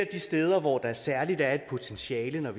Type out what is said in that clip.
de steder hvor der særlig er potentiale